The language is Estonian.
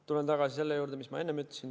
Tulen tagasi selle juurde, mis ma enne ütlesin.